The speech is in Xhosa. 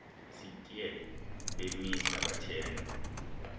sitye bemisa bathenga